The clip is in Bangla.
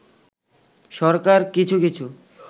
সরকার কিছু কিছু